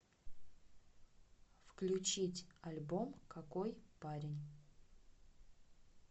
включить альбом какой парень